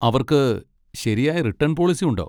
അവർക്ക് ശരിയായ return policy ഉണ്ടോ?